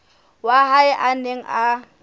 wa hae a neng a